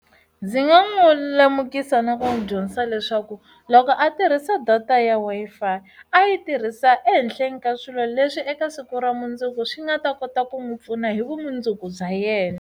Ndzi nga n'wi lemukisa na ku n'wi dyondzisa leswaku loko a tirhisa data ya Wi-Fi a yi tirhisa ehenhleni ka swilo leswi eka siku ra mundzuku swi nga ta kota ku n'wi pfuna hi vumundzuku bya yena.